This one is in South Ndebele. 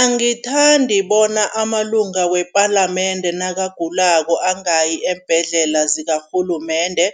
Angithandi bona amalunga wepalamende nakagulako angayi eembhedlela zakarhulumende